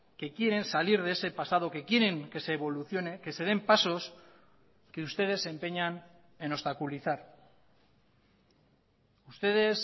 que quieren salir de ese pasado que quieren que se evolucione que se den pasos que ustedes se empeñan en obstaculizar ustedes